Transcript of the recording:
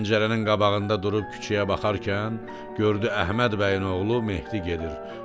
Pəncərənin qabağında durub küçəyə baxarkən gördü Əhməd bəyin oğlu Mehdi gedir.